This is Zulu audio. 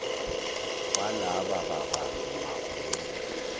walaba babambi magunya